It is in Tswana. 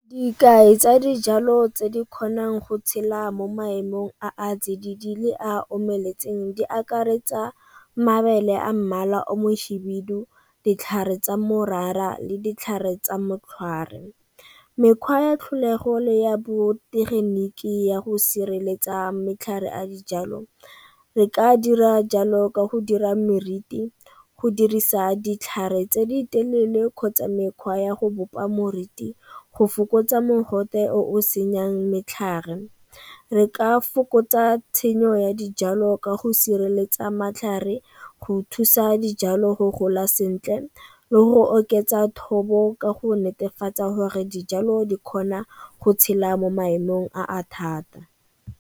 Dikai tsa dijalo tse di kgonang go tshela mo maemong a a tsididi le a omeletseng di akaretsa mabele a mmala o mohibidu, ditlhare tsa morara le ditlhare tsa mokgwari. Mekgwa ya tlholego le ya botegeniki ya go sireletsa matlhare a dijalo re ka dira jalo ka go dira meriti go dirisa ditlhare tse di telele kgotsa mekgwa ya go bopa moriti go fokotsa mogote o senyeang metlhagare. Re ka fokotsa tshenyo ya dijalo ka go sireletsa matlhare go thusa dijalo go gola sentle le go oketsa thobo ka go netefatsa gore dijalo di kgona go tshela mo maemong a a thata.